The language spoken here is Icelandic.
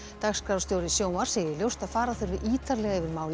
dagskrárstjóri sjónvarps segir ljóst að fara þurfi ítarlega yfir málið